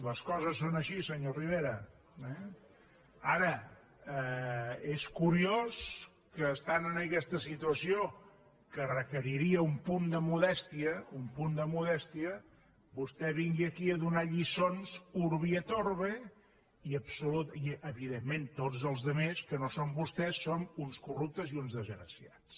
les coses són així senyor rivera eh ara és curiós que estant en aquesta situació que requeriria un punt de modèstia vostè vingui aquí a donar lliçons urbi et orbievidentment tots els altres que no som vostès som uns corruptes i uns desgraciats